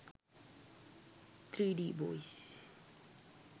3d boys